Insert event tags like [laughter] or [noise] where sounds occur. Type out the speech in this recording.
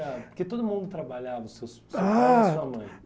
Porque todo mundo trabalhava, seus [unintelligible] pais e sua mãe.